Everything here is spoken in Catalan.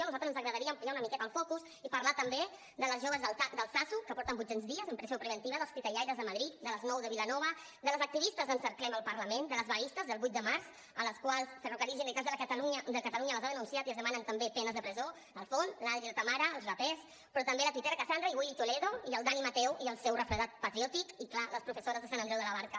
a nosaltres ens agradaria ampliar una mi·queta el focus i parlar també dels joves d’altsasu que porten vuit·cents dies en presó preventiva dels titellaires de madrid de les nou de vilanova de les activistes d’ en·cerclem el parlament de les vaguistes del vuit de març a les quals ferrocarrils de la generalitat de catalunya les ha denunciat i es demanen també penes de presó l’al·fon l’adri la tamara els rapers però també la tuitaire cassandra i willy toledo i el dani mateu i el seu refredat patriòtic i clar les professores de sant andreu de la barca